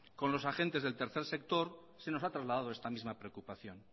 con los agentes del tercer sector se nos ha trasladado esta misma preocupación